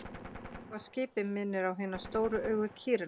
Kýrauga á skipi minnir á hin stóru augu kýrinnar.